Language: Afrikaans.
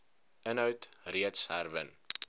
inhoud reeds herwin